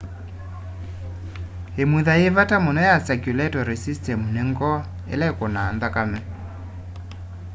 imutha yi vata muno ya circulatory system ni ngoo ila ikunaa nthakame